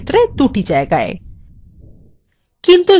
আমাদের ক্ষেত্রে দুটি জায়গায়